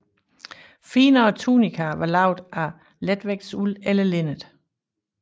Finere tunikaer var lavet af letvægtsuld eller linned